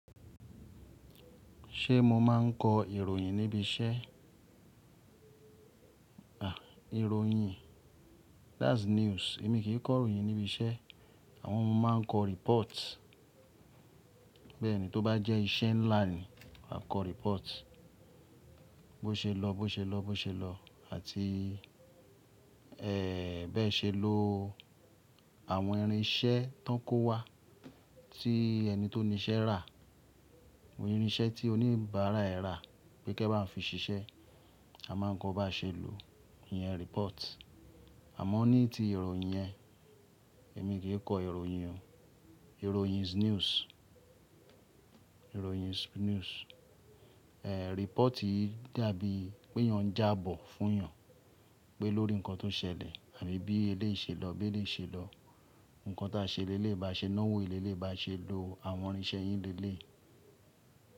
Ṣé mo máa ń kọ ìròyìn níbi iṣẹ́? À, ìròyìn? That's news. Èmi kì í kọ ìròyìn níbi iṣẹ́. Àmọ́ mọ máa ń kọ report. Bẹ́ẹ̀ni, tó bá jẹ́ iṣẹ́ ńlá ni, a kọ report. Bóṣelo. Bóṣelo bóṣelo àti bẹ́ ṣe lọ. Àwọn irinṣẹ́ tán kówa, tí ẹni tó ní iṣẹ́ rà. Àwọn irinṣẹ́ tí oníbàárà ẹ rà pé kí ẹ bá fi ṣiṣẹ́, a máa ń kọ́ bá ṣe lò. Ìyẹn report. Àmọ́ ní ti ìròyìn yẹn, èmi kì í kọ ìròyìn o. Ìròyìn is news. Ìròyìn is news. Ẹ̀, reportì dàbí pé yàn n jábọ̀ fún yàn pé lórí nǹkan tó ṣẹlẹ̀ àbí bí eléyìí ṣe lọ, bí eléyìí ṣe lọ. Nǹkan tí a ṣe lé lé bá ṣe náwó eléyìí lé bá ṣe lò àwọn irinṣẹ́ yín lé léyìí.